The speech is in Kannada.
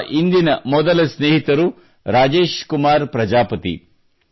ನಮ್ಮ ಇಂದಿನ ಮೊದಲ ಸ್ನೇಹಿತರು ರಾಜೇಶ್ ಕುಮಾರ್ ಪ್ರಜಾಪತಿ